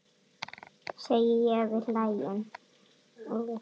segi ég og við hlæjum.